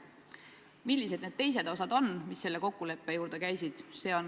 Millised need teised osad on, mis nende kokkulepete juurde käisid?